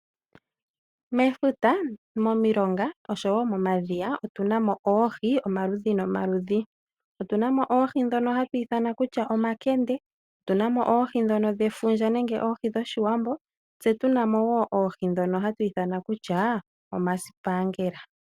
Mefuta, momilonga oshowo momadhiya otu na mo oohi, omaludhi nomaludhi. Otu na mo oohi ndhono hatu ithana kutya omakende, otu na mo oohi ndhono dhefundja nenge dhoshiwambo, tse tu na mo wo oohi ndhono hatu ithana kutya omasipaangela.